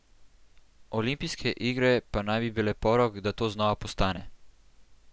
Olimpijske igre pa naj bi bile porok, da to znova postane.